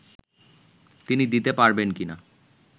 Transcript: তিনি দিতে পারবেন কি না